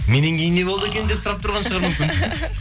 меннен кейін не болды екен деп сұрап тұрған шығар мүмкін